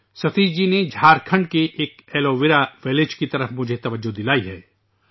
ستیش جی نے میری توجہ جھارکھنڈ کے ایک ایلو ویرا گاؤں کی طرف مبذول کرائی ہے